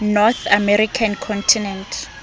north american continent